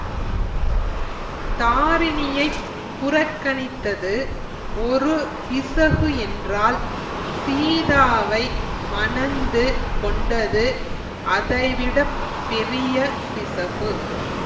தாரிணியைப் புறக்கணித்தது ஒரு பிசகு என்றால் சீதாவை மணந்து கொண்டது அதைவிடப் பெரிய பிசகு